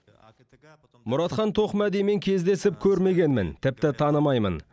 мұратхан тоқмәдимен кездесіп көрмегенмін тіпті танымаймын